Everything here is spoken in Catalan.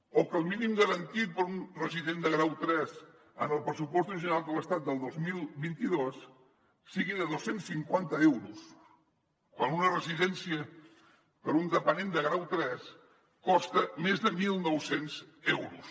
o que el mínim garantit per a un resident de grau tres en els pressupostos generals de l’estat del dos mil vint dos sigui de dos cents i cinquanta euros quan una residència per a un dependent de grau tres costa més de mil nou cents euros